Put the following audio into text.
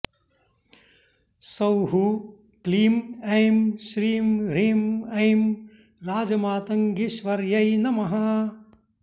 सौः क्लीं ऐं श्रीं ह्रीं ऐं राजमातङ्गीश्वर्यै नमः